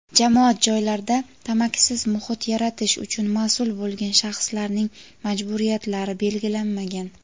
jamoat joylarida tamakisiz muhit yaratish uchun mas’ul bo‘lgan shaxslarning majburiyatlari belgilanmagan.